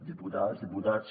diputades diputats